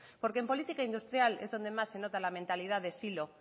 porque en política industrial es donde más se nota la mentalidad de silo